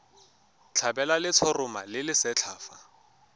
tlhabelwa letshoroma le lesetlha fa